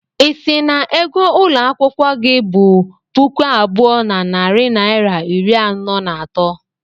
Ị sị na ego ụlọ akwụkwọ gị bu puku abụọ na narị naịra iri anọ na atọ?